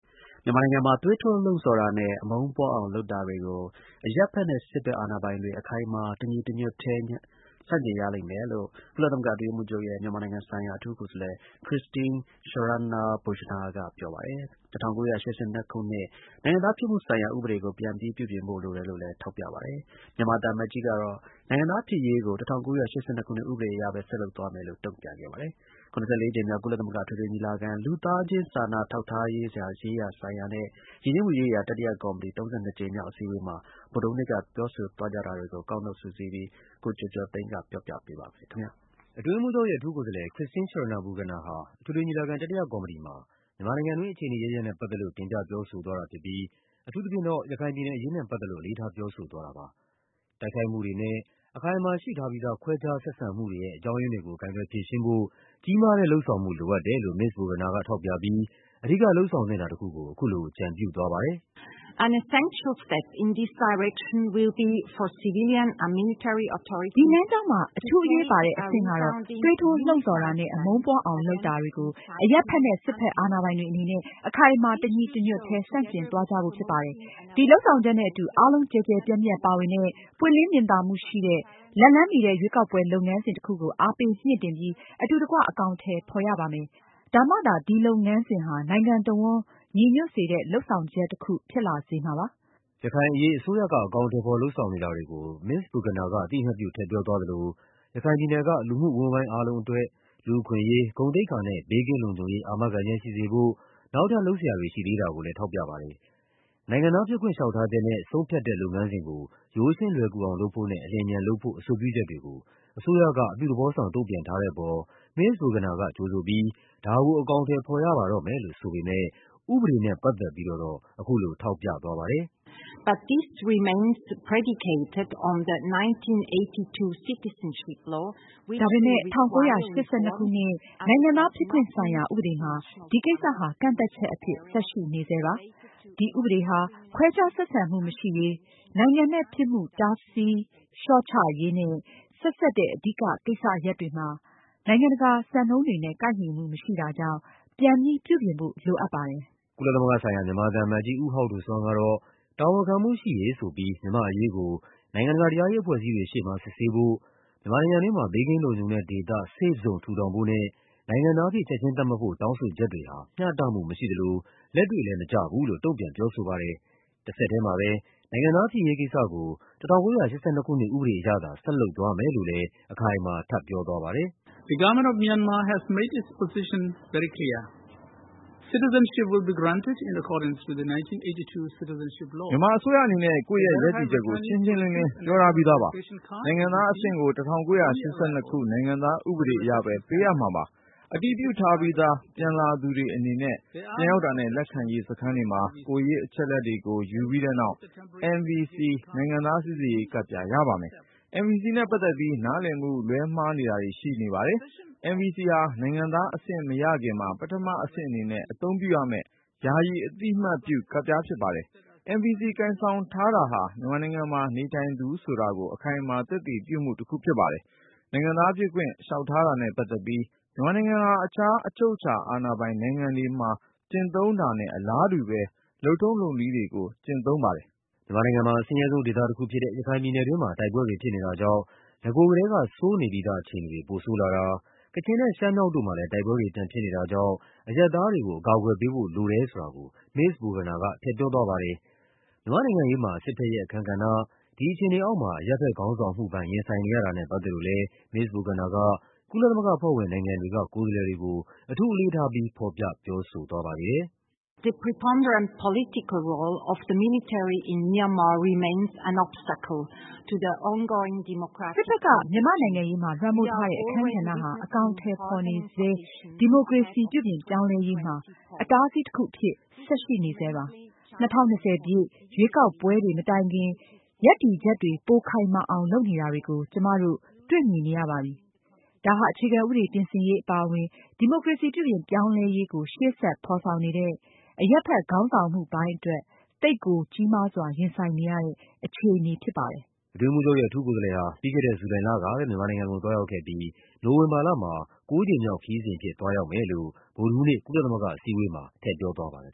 မြန်မာနိုင်ငံမှာ သွေးထိုးလှုံ့ဆော်တာနဲ့ အမုန်းပွားအောင် လုပ်တာတွေကို အရပ်ဘက်နဲ့ စစ်ဘက်အာဏာပိုင်တွေ အခိုင်အမာ တညီတညွတ်ထဲ ဆန့်ကျင်ကြရမယ်လို့ ကုလသမဂ္ဂ အတွင်းရေးမှူးချုပ်ရဲ့ မြန်မာနိုင်ငံဆိုင်ရာ အထူးကိုယ်စားလှယ် Christine Schraner Burgener က ပြောပါတယ်။ ၁၉၈၂ ခုနှစ် နိုင်ငံသားဖြစ်မှုဆိုင်ရာ ဥပဒေကို ပြန်ပြီးပြုပြင်ဖို့ လိုတယ်လို့လည်း ထောက်ပြ ပါတယ်။ မြန်မာသံအမတ်ကြီး ကတော့ နိုင်ငံသားဖြစ်ရေးကို ၁၉၈၂ ခုနှစ်ဥပဒေအရပဲ ဆက်လုပ်သွားမယ်လို့ တုန့်ပြန်ပါ တယ်။ ၇၄ ကြိမ်မြောက် ကုလသမဂ္ဂအထွေထွေညီလာခံ၊ လူသားစာနာထောက်ထားမှုရေးရာနဲ့ ယဉ်ကျေးမှုရေးရာ တတိယ ကော်မတီ ၃၂ ကြိမ်မြောက် အစည်းအဝေးမှာ ဗုဒ္ဓဟူးနေ့က ပြောဆိုသွားကြတာတွေကို ကောက်နုတ်စုစည်းပြီး ကိုကျော်ကျော် သိန်းက ပြောပြပါမယ်။ အတွင်းရေးမှူးချုပ်ရဲ့ အထူးကိုယ်စားလှယ် Christine Schraner Burgener ဟာ အထွေထွေညီလာခံ တတိယကော်မတီ မှာ မြန်မာနိုင်ငံတွင်း အခြေအနေအရပ်ရပ်နဲ့ပတ်သက်လို့ တင်ပြပြောဆိုသွားတာဖြစ်ပြီး အထူးသဖြင့်တော့ ရခိုင်ပြည်နယ်အရေးနဲ့ ပတ်သက်လို့ အလေးထားပြောဆိုသွားတာပါ။ တိုက်ခိုက်မှုတွေနဲ့ အခိုင်အမာရှိထားပြီးသား ခွဲခြားဆက်ဆံမှုတွေရဲ့ အကြောင်းရင်းတွေကို ကိုင်တွယ်ဖြေရှင်းဖို့ ကြီးမားတဲ့ လုပ်ဆောင်မှုလိုအပ်တယ်လို့ မစ္စ Burgener ကထောက်ပြပြီး အဓိကလုပ်ဆောင်သင့်တာတခုကို အခုလို အကြံပြုသွားပါတယ်။ “ဒီလမ်းကြောင်းမှာ အထူးအရေးပါတဲ့ အဆင့်ကတော့ သွေးထိုးလှုံ့ဆော်တာနဲ့ အမုန်းပွားအောင်လုပ်တာ တွေကို အရပ်ဘက်နဲ့ စစ်ဘက် အာဏာပိုင်တွေ အနေနဲ့ အခိုင်အမာ တညီတညွတ်ထဲ ဆန့်ကျင့်သွားကြဖို့ဖြစ်ပါတယ်။ ဒီ လုပ်ဆောင်ချက်နဲ့အတူ အားလုံး ကျယ်ကျယ်ပြန့်ပြန့်ပါဝင်တဲ့၊ ပွင့်လင်းမြင်သာမှုရှိတဲ့၊ လက်လှမ်းမီတဲ့ ရွေးကောက်ပွဲလုပ်ငန်းစဉ် တခုကို အားပေးမြှင့်တင်ပြီး အတူတကွ အကောင်အထည်ဖော်ရပါမယ်။ ဒါမှသာ ဒီလုပ်ငန်းစဉ်ဟာ နိုင်ငံတဝန်းညီညွတ်စေတဲ့ လုပ်ဆောင်ချက်တခုဖြစ်လာစေမှာပါ။” ရခိုင်အရေး အစိုးရက အကောင်အထည်ဖော် လုပ်ဆောင်နေတာတွေကို မစ္စ Burgener က အသိအမှတ်ပြု ထည့်ပြောသွား သလို ရခိုင်ပြည်နယ်က လူမှုအဝန်းအဝိုင်းအားလုံးအတွက် လူ့အခွင့်အရေး၊ ဂုဏ်သိက္ခာနဲ့ ဘေးကင်းလုံခြုံရေး အာမခံချက်ရှိစေဖို့ နောက်ထပ် လုပ်စရာတွေ ရှိသေးတာကိုလည်း ထောက်ပြပါတယ်။ နိုင်ငံသားဖြစ်ခွင့် လျှောက်ထားချက်နဲ့ ဆုံးဖြတ်တဲ့ လုပ်ငန်းစဉ်ကို ရိုးရှင်းလွယ်ကူအောင် လုပ်ဖို့နဲ့ အလျင်အမြန်လုပ်ဖို့ အဆိုပြု ချက်တွေကို အစိုးရက အပြုသဘောဆောင် တုန့်ပြန်ထားတဲ့ အပေါ် မစ္စ Burgener က ကြိုဆိုပြီး ဒါကို အကောင်အထည်ဖော်ရပါ တော့မယ်လို့ ဆိုပေမယ့် ဥပဒေနဲ့ပတ်သက်ပြီးတော့တော့ အခုလို ထောက်ပြသွားပါတယ်။ “ဒါပေမယ့် ၁၉၈၂ ခုနှစ် နိုင်ငံသားဖြစ်ခွင့်ဆိုင်ရာ ဥပဒေမှာ ဒီကိစ္စဟာ ကန့်သတ်ချက်အဖြစ် ဆက်ရှိနေဆဲပါ။ ဒီဥပဒေဟာ ခွဲခြားဆက်ဆံမှုမရှိရေး၊ နိုင်ငံမဲ့ဖြစ်မှု တားဆီး လျှော့ချရေးနဲ့ဆက်စပ်တဲ့ အဓိကကိစ္စရပ်တွေမှာ နိုင်ငံတကာ စံနှုန်းတွေနဲ့ ကိုက်ညီမှုမရှိတာကြောင့် ပြန်ပြီးပြုပြင်ဖို့ လိုအပ်ပါတယ်။” ကုလသမဂ္ဂဆိုင်ရာ မြန်မာသံအမတ်ကြီး ဦးဟောက်ဒိုဆွမ်းကတော့ တာဝန်ခံမှုရှိရေးဆိုပြီး မြန်မာ့အရေးကို နိုင်ငံတကာ တရား ရေးအဖွဲ့အစည်းတွေရှေ့မှာ စစ်ဆေးဖို့၊ မြန်မာနိုင်ငံတွင်းမှာ ဘေးကင်းလုံခြုံတဲ့ဒေသ Safe Zone ထူထောင်ဖို့နဲ့ နိုင်ငံသားအဖြစ် ချက်ခြင်းသတ်မှတ်ဖို့ တောင်းဆိုချက်တွေဟာ မျှတမှုမရှိသလို လက်တွေ့လည်း မကျဘူးလို့ တုန့်ပြန်ပြောဆိုပါတယ်။ တဆက်ထဲ မှာပဲ နိုင်ငံသားဖြစ်ရေးကိစ္စကို ၁၉၈၂ ခုနှစ် ဥပဒေအရသာ ဆက်လုပ်သွားမယ်လို့လည်း အခိုင်အမာထပ်ပြောသွားပါတယ်။ “မြန်မာအစိုးရအနေနဲ့ ကိုယ့်ရဲ့ရပ်တည်ချက်ကို ရှင်းရှင်းလင်းလင်း ပြောထားပြီးသားပါ။ နိုင်ငံသားအဆင့်ကို ၁၉၈၂ ခုနှစ် နိုင်ငံသားဥပဒေအရပဲ ပေးအပ်မှာပါ။ အတည်ပြုထားပြီးသား ပြန်လာသူတွေအနေနဲ့ ပြန်ရောက်တာနဲ့ လက်ခံရေး စခန်းတွေမှာ ကိုယ်ရေးအချက်အလက်တွေကို ယူပြီးတဲ့နောက် NVC နိုင်ငံသားစိစစ်ရေးကဒ်ပြား ရပါမယ်။ NVC နဲ့ပတ်သက်ပြီး နားလည်မှု လွဲမှားတာတွေ ရှိနေပါတယ်။ NVC ဟာ နိုင်ငံသားအဆင့်မရခင်မှာ ပထမအဆင့်အနေနဲ့ အသုံးပြုရမယ့် ယာယီ အသိအမှတ်ပြုကဒ်ပြား ဖြစ်ပါတယ်။ NVC ကိုင်ဆောင်ထားတာဟာ မြန်မာနိုင်ငံမှာ နေထိုင်သူဆိုတာကို အခိုင်အမာ သက်သေ ပြမှုတခုဖြစ်ပါတယ်။ နိုင်ငံသားဖြစ်ခွင့် လျှောက်ထားတာနဲ့ ပတ်သက်ပြီး မြန်မာနိုင်ငံဟာ တခြား အချုပ်အခြာအာဏာပိုင် နိုင်ငံတွေ မှာ ကျင့်သုံးတာနဲ့ အလားတူတဲ့ လုပ်ထုံံးလုပ်နည်းတွေကို ကျင့်သုံးပါတယ်။” မြန်မာနိုင်ငံမှာ အဆင်းရဲဆုံးဒေသတခုဖြစ်တဲ့ ရခိုင်ပြည်နယ်တွင်းမှာ တိုက်ပွဲတွေဖြစ်နေတာကြောင့် နဂိုကတည်းက ဆိုးနေပြီး သားအခြေအနေတွေ ပိုဆိုးလာတာ၊ ကချင်နဲ့ရှမ်းမြောက်တို့မှာလည်း တိုက်ပွဲတွေ ပြန်ဖြစ်နေတာကြောင့် အရပ်သားတွေကို အကာအကွယ်ပေးဖို့လိုတယ်ဆိုတာကို မစ္စ Burgener က ထည့်ပြောသွားပါတယ်။ မြန်မာ့နိုင်ငံရေးမှာ စစ်ဘက်ရဲ့အခန်းကဏ္ဍ၊ ဒီအခြေအနေအောက်မှာ အရပ်ဘက်ခေါင်းဆောင်မှုပိုင်း ရင်ဆိုင်နေရတာနဲ့ ပတ်သက်လို့လည်း မစ္စ Burgener က ကုလသမဂ္ဂအဖွဲ့ဝင်နိုင်ငံတွေက ကိုယ်စားလှယ်တွေကို အထူးအလေးထားပြီး ဖော်ပြ ပြောဆိုသွားပါသေးတယ်။ “စစ်ဘက်က မြန်မာ့နိုင်ငံရေးမှာ လွှမ်းမိုးထားတဲ့ အခန်းကဏ္ဍဟာ အကောင်အထည်ဖော်နေဆဲ ဒီမိုကရေစီ ပြုပြင်ပြောင်းလဲရေးမှာ အတားအဆီးတခုအဖြစ် ဆက်ရှိနေဆဲပါ။ ၂၀၂၀ ပြည့်နှစ် ရွေးကောက်ပွဲတွေမတိုင်ခင် ရပ်တည်ချက်တွေ ပိုခိုင်မာအောင်လုပ်နေတာကို ကျမတို့တွေ့မြင်နေရပါပြီ။ ဒါဟာ အခြေခံဥပဒေ ပြင်ဆင်ရေးအပါအဝင် ဒီမိုကရေစီပြုပြင်ပြောင်းလဲ ရေးကို ရှေ့ဆက်ဖော်ဆောင်နေတဲ့ အရပ်ဘက်ခေါင်းဆောင်မှုပိုင်းအတွက် သိပ်ကိုကြီးမားစွာ ရင်ဆိုင်နေရတဲ့အခြေအနေ ဖြစ်ပါ တယ်။” အတွင်းရေးမှူးချုပ်ရဲ့ အထူးကိုယ်စားလှယ်ဟာ ပြီးခဲ့တဲ့ ဇူလိုင်လကပဲ မြန်မာနိုင်ငံကိုသွားရောက်ခဲ့ပြီး နိုဝင်ဘာလမှာ ၉ ကြိမ် မြောက်ခရီးစဉ်အဖြစ် သွားရောက်မယ်လို့ ဗုဒ္ဓဟူးနေ့ ကုလသမဂ္ဂအစည်းအဝေးမှာ ပြောသွားပါတယ်